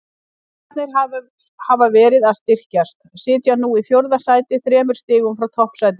Víkingar hafa verið að styrkjast, sitja nú í fjórða sæti þremur stigum frá toppsætinu.